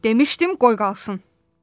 Demışdim qoy qalxsın.